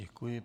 Děkuji.